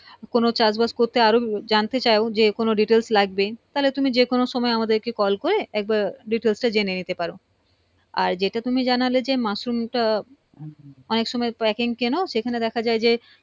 কোনো চাষ বাস করতে আরও জানতে চাও যে কোনো details লাগবে তাহলে তুমি যে কোনো সময়ে আমাদের কে call করে একবার details টা জেনে নিতে পারো আর যেটা তুমি জানালে যে মাশরুম টা অনেক সময়ে packing কেন সেখানে দেখা যায় যে